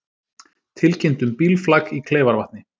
Tilkynnt um bílflak í Kleifarvatni